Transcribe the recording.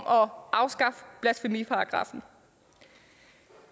om at afskaffe blasfemiparagraffen